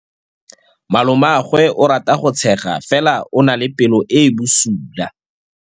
Malomagwe o rata go tshega fela o na le pelo e e bosula.